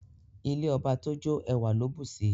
Ilé ọba tójó ẹwà ló bùsi